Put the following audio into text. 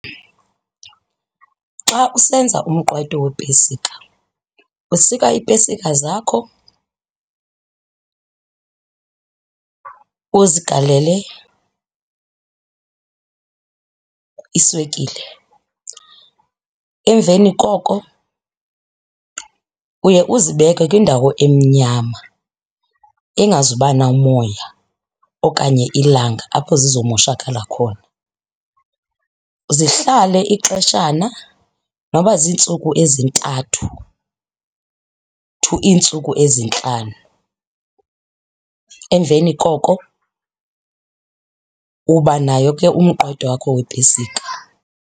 Xa usenza umqwayito wepesika, usika iipesika zakho uzigalele iswekile. Emveni koko uye uzibeke kwindawo emnyama engazuba namoya okanye ilanga apho zizomoshakala khona. Zihlale ixeshana noba ziintsuku ezintathu to iintsuku ezintlanu. Emveni koko uba nayo ke umqwayito wakho wepesika.